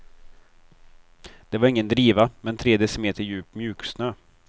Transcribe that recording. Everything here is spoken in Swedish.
Det var ingen driva, men tre decimeter djup mjuksnö.